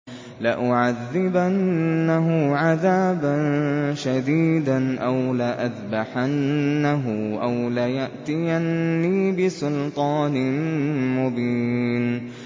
لَأُعَذِّبَنَّهُ عَذَابًا شَدِيدًا أَوْ لَأَذْبَحَنَّهُ أَوْ لَيَأْتِيَنِّي بِسُلْطَانٍ مُّبِينٍ